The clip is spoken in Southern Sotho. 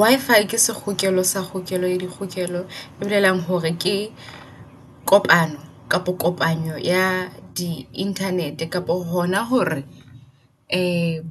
Wi-Fi ke sekgokele sa kgokelo ya dikgokelo. E bolelang hore ke kopano kapa kopanyo ya di internet-e. Kapo hona hore